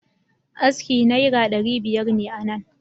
Aski Naiar daribiyar ne a nan